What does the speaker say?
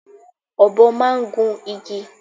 Ọ̀bọ máa ń gun igi.